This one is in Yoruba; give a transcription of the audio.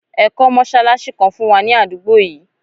Ẹ kọ́ mọ́ṣálásí kan fún wa ní àdúgbò yìí!